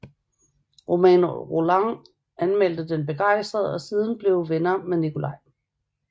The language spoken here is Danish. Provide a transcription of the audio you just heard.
Romain Rolland anmeldte den begejstret og blev siden venner med Nicolai